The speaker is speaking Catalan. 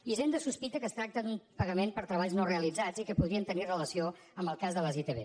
hisenda sospita que es tracta d’un pagament per treballs no realitzats i que podrien tenir relació amb el cas de les itv